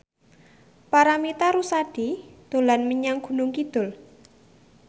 Paramitha Rusady dolan menyang Gunung Kidul